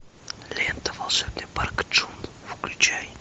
лента волшебный парк джун включай